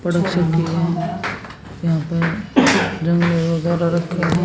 यहां पर गमले वगैरह रखे हैं।